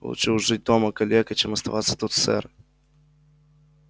лучше уж жить дома калекой чем оставаться тут сэр